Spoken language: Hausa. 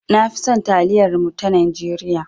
Na fi son taliyar mu ta Najeriya.